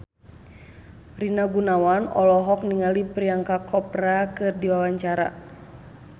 Rina Gunawan olohok ningali Priyanka Chopra keur diwawancara